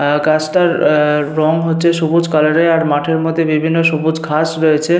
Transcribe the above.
অ্যা গাছটার আ রং হচ্ছে সবুজ কালারের আর মাঠের মধ্যে বিভিন্ন সবুজ ঘাস রয়েছে।